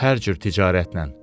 Hər cür ticarətlə.